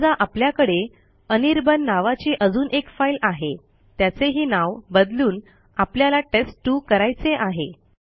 समजा आपल्याकडे अनिर्बाण नावाची अजून एक फाईल आहे त्याचेही नाव बदलून आपल्याला टेस्ट2 करायचे आहे